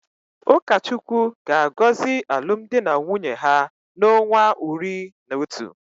Ukachukwu ga-agozi alum di na nwunye ha na onwa uri na Otu.